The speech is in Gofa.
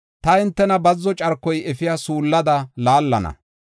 “Ta hintena bazzo carkoy efiya suullada laallana.